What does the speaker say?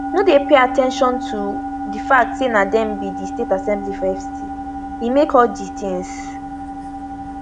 no dey pay at ten tion to do fact say na dem be di state assembly for fct e make all di tins